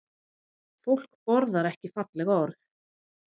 Fólk borðar ekki falleg orð